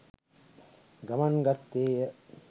ගමන් ගත්තේය.